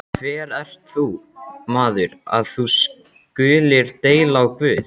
Hver ert þú, maður, að þú skulir deila á Guð?